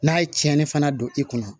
N'a ye tiɲɛni fana don i kunna